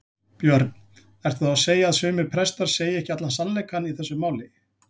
Björn: Ertu þá að segja að sumir prestar segir ekki allan sannleikann í þessu máli?